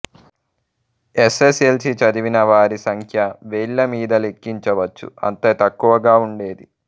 yes S L C చదివిన వారి సంఖ్య వేళ్ళ మీద లెక్కించవచ్చు అంత తక్కువగా ఉండేది